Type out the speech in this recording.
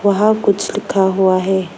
वहां कुछ लिखा हुआ है।